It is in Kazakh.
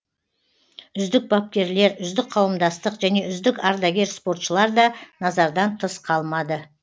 үздік бапкерлер үздік қауымдастық және үздік ардагер спортшылар да назардан тыс қалмады